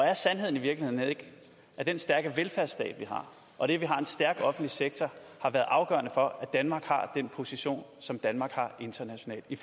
er sandheden i virkeligheden ikke at den stærke velfærdsstat vi har og det at vi har en stærk offentlig sektor har været afgørende for at danmark har den position som danmark har internationalt i